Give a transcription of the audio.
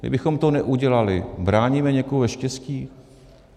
Kdybychom to neudělali, bráníme někomu ve štěstí?